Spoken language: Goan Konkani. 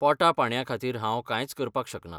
पोटा पाणयाखातीर हांव कांयच करपाक शकना.